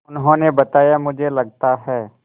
उन्होंने बताया मुझे लगता है